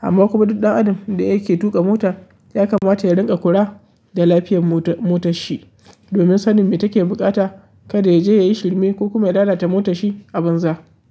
Amma kuma duk ɗan adam da yake tuƙa mota ya kamata ya rinƙa kula da lafiyar motar shi. Domin sanin me take buƙata kada ya je yayi shirme ko kuma ya lalata motar shi a banza.